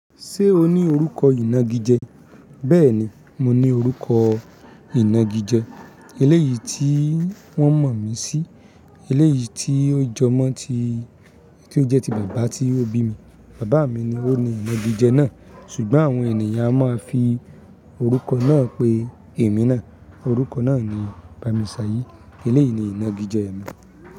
Ṣé o ní orúkọ ìnagijẹ? Bẹ́ẹ̀ ni, mo ní orúkọ ìnagijẹ. Eléyìí tí wọ́n mọ̀ mí sí, eléyìí tí ó jọmọ́ tí ó jẹ́ ti bàbá tí ó bí mi. Bàbá mi ni ó ní ìnagijẹ náà. Ṣùgbọ́n àwọn ènìyàn a máa ń fi orúkọ náà pé èmi náà. Òrúkọ náà ni Bámisáyìí. Eléyìí ni ìnagijẹ mi.